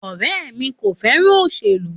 Ọ̀rẹmí ko féràn òsèlú.